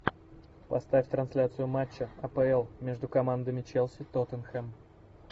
поставь трансляцию матча апл между командами челси тоттенхэм